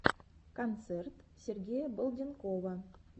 концерт сергея балденкова